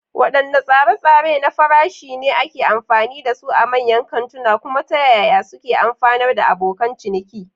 Wadanne tsare-tsare na farashi ne ake amfani da su a manyan kantuna, kuma ta yaya suke amfanar abokan ciniki?